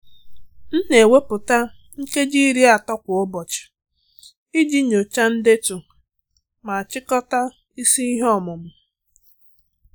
M na-ewepụta nkeji iri atọ kwa ụbọchị iji nyochaa ndetu ma chịkọta isi ihe ọmụmụ."